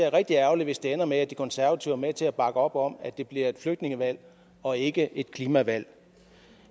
er rigtig ærgerligt hvis det ender med at de konservative er med til at bakke op om at det bliver et flygtningevalg og ikke et klimavalg